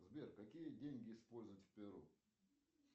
сбер какие деньги используют в перу